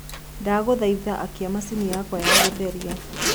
ndagũthaĩtha akĩa machĩnĩ yakwa ya gutherĩa